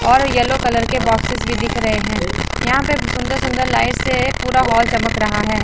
और yellow colour के boxes भी दिख रे हैं यहां पे सुंदर सुंदर लाइट से पूरा हॉल चमक रहा है।